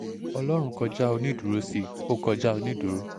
ọlọ́run kọjá onídùúró sí ó kọjá onídùúró